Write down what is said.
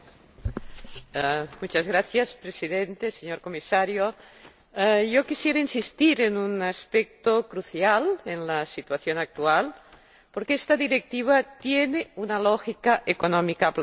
Señor Presidente, señor Comisario, quisiera insistir en un aspecto crucial en la situación actual, porque esta Directiva tiene una lógica económica aplastante.